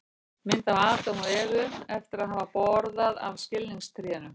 mynd af adam og evu eftir að hafa borðað af skilningstrénu